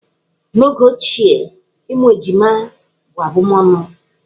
N'oge ochie, ịmụ ejima bụ abụmọnụ.